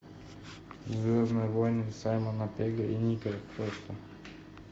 звездные войны саймона пегга и ника фроста